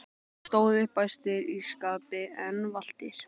og stóðu upp æstir í skapi en valtir.